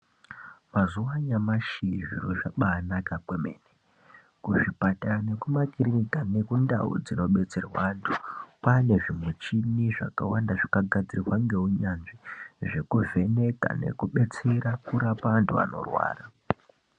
Mazuwa anyamashi zviro zvakanaka zvemene. Kuzvipatara nekumakirinika nekundau dzinobetserwa antu kwane zvimuchini zvakawanda zvakagadzirwa ngeunyanzvi zvekuvheneka nekubatsira antu anorwara.